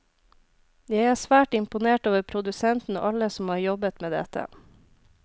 Jeg er svært imponert over produsenten og alle som har jobbet med dette.